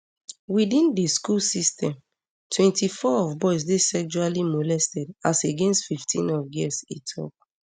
within di school system twenty-four of boys dey sexually molested as against fifteen of girls e tok